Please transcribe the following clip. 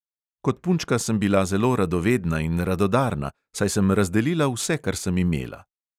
Kot punčka sem bila zelo radovedna in radodarna, saj sem razdelila vse, kar sem imela.